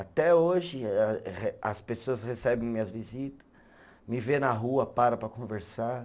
Até hoje, a re as pessoas recebem minhas visita, me vê na rua, param para conversar.